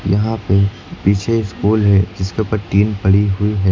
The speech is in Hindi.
यहां पे पीछे एक स्कूल है जिसके ऊपर टीन पड़ी हुई है।